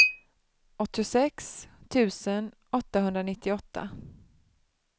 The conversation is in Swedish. åttiosex tusen åttahundranittioåtta